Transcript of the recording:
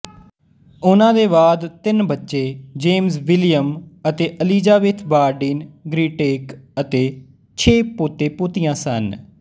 ਉਨ੍ਹਾਂ ਦੇ ਬਾਅਦ ਤਿੰਨ ਬੱਚੇ ਜੇਮਜ਼ ਵਿਲੀਅਮ ਅਤੇ ਅਲੀਜ਼ਾਬੇਥ ਬਾਰਡੀਨ ਗ੍ਰੀਟੈਕ ਅਤੇ ਛੇ ਪੋਤੇਪੋਤੀਆਂ ਸਨ